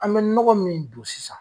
An bɛ nɔgɔ min don sisan.